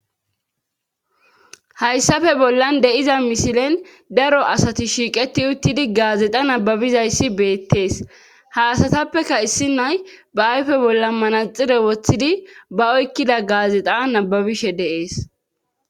hayssafe bollan deiza mishilen daro asati shiiqeti uttidi gaazexa nababizayssi beettees haasatappeka issi nay ba ayfe bolla manaxire woththidi ba oykkida gaazexa nababishe deees